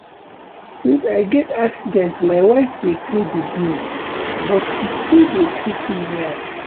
Since I get accident my wife dey pay the bills but she still dey treat me well